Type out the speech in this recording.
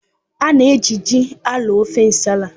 A na-eji ji arọọ ofe nsala.